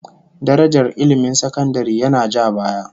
Darajar ilmin sakandare yana ja baya